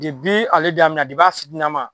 ale daminɛ a fitinina ma